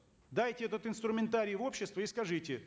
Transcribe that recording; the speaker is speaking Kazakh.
дайте этот инструментарий в общество и скажите